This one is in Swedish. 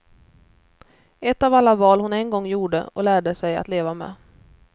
Ett av alla val hon en gång gjorde, och lärde sig att leva med.